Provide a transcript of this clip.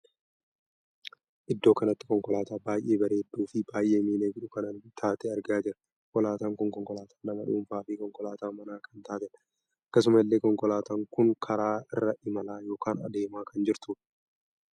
Iddoo kanatti konkolaataa baay'ee bareedduu fi baay'ee miidhagduu kan taate argaa jirra. konkolaataan kun konkolaataa nama dhuunfaa fi konkolaataa manaa kan taateedha. akkasuma illee konkolaataa kun karaa irra imalaa ykn adeemaa kan jirtudha.